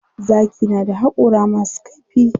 Zaki na da haƙora masu kaifi.